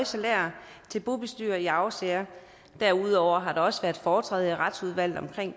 salærer til bobestyrere i arvesager derudover har der også været foretræde i retsudvalget om det